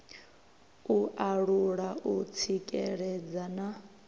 u alula u tsikeledza na